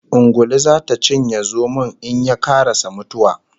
Ungulu zata cinye zomon in ye karasa mutuwa